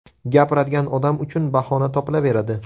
Gapiradigan odam uchun bahona topilaveradi.